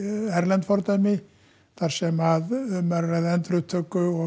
erlend fordæmi þar sem um er að ræða endurupptöku og